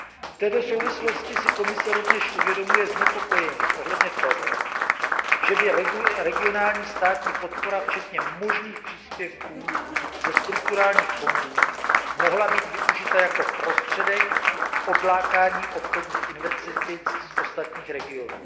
V této souvislosti si Komise rovněž uvědomuje znepokojení ohledně toho, že by regionální státní podpora včetně možných příspěvků ze strukturálních fondů mohla být využita jako prostředek k odlákání obchodních investic z ostatních regionů.